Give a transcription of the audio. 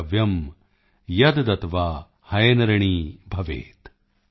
ਦ੍ਰਵਯਮ ਯਦਦੱਤਵਾ ਹਇਨਰਿਣੀ ਭਵੇਤ॥